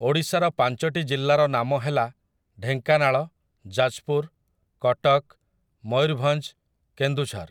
ଓଡ଼ିଶାର ପାଞ୍ଚଟି ଜିଲ୍ଲାର ନାମ ହେଲା ଢେଙ୍କାନାଳ ଯାଜପୁର କଟକ ମୟୂରଭଞ୍ଜ କେନ୍ଦୁଝର ।